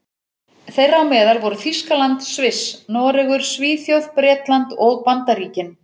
Þeirra á meðal voru Þýskaland, Sviss, Noregur, Svíþjóð, Bretland og Bandaríkin.